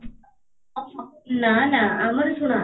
ହଁ ହଁ, ନା ନା ଆମର ଶୁଣ